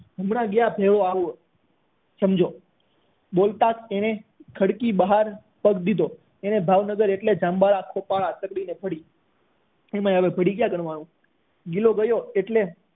હમણાં ગયા ભેગો આવું સમજો બોલતા એની સાથે ખડકી બહાર પગ દીધો એને ભાવનગર એમાં હવે ભેગું ક્યાં કરવાનું ગિલો ગયો એટલે